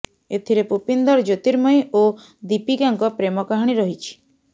ଏଥିରେ ପୁପିନ୍ଦର ଜ୍ୟୋତିର୍ମୟୀ ଓ ଦୀପିକାଙ୍କ ପ୍ରେମ କାହାଣୀ ରହିଛି